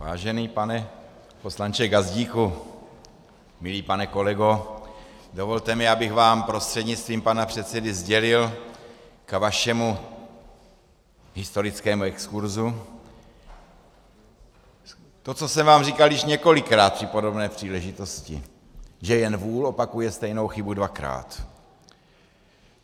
Vážený pane poslanče Gazdíku, milý pane kolego, dovolte mi, abych vám prostřednictvím pana předsedy sdělil k vašemu historickému exkurzu to, co jsem vám říkal již několikrát při podobné příležitosti, že jen vůl opakuje stejnou chybu dvakrát.